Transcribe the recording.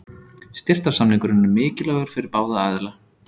Styrktarsamningurinn er mikilvægur fyrir báða aðila.